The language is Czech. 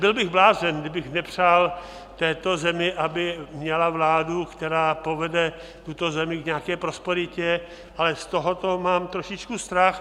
Byl bych blázen, kdybych nepřál této zemi, aby měla vládu, které povede tuto zemi k nějaké prosperitě, ale z tohoto mám trošičku strach.